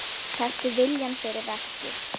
Taktu viljann fyrir verkið.